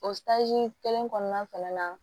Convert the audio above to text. O kelen kɔnɔna fɛnɛ na